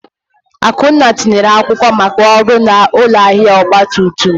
Akunna tinyere akwụkwọ maka ọrụ na ụlọ ahịa ọgba tum tum.